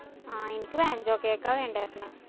ആ എനിക്ക് vancho cake ആ വേണ്ടാര്‍ന്ന്.